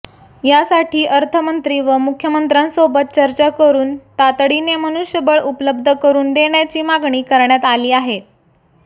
यासाठी अर्थमंत्री व मुख्यमंत्र्यांसोबत चर्चा करून तातडीने मनुष्यबळ उपलब्ध करून देण्याची मागणी करण्यात आली आहे